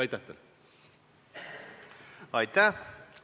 Aitäh!